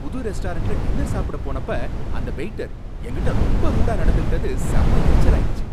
புது ரெஸ்டாரண்ட்ல டின்னர் சாப்புடபோனப்ப அந்த வெயிட்டர் எங்ககிட்ட ரொம்ப ரூடா நடந்துகிட்டது செம எரிச்சலாயிடுச்சி.